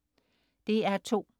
DR2: